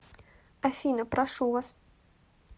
афина прошу вас